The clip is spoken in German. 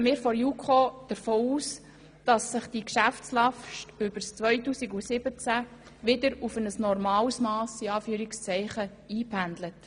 Deshalb geht die JuKo davon aus, die Geschäftslast werde sich während des Jahres 2017 wieder auf ein «normales Mass» einpendeln.